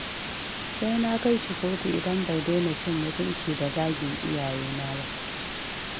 Sai na kai shi kotu idan bai daina cin mutunci da zagin iyayena ba